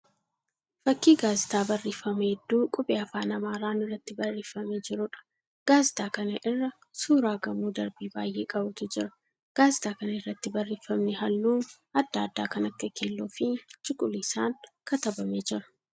Fakkii Gaazitaa barreeffama hedduu qubee afaan Amaaraan irratti barreeffamee jiruudha. Gaazitaa kana irra suuraa gamoo darbii baay'ee qabutu jira. Gaazixaa kana irratti barreeffamni halluu adda addaa kan akka keelloo fi cuquliisaan katabamee jira.